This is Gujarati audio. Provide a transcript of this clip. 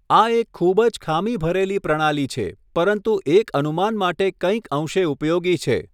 આ એક ખૂબ જ ખામી ભરેલી પ્રણાલી છે, પરંતુ એક અનુમાન માટે કંઈક અંશે ઉપયોગી છે.